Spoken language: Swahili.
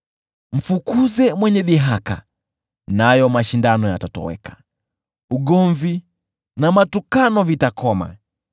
Mfukuze mwenye dhihaka, na mvutano utatoweka; ugomvi na matukano vitakoma.